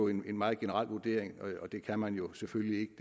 en meget generel vurdering og det kan man jo selvfølgelig ikke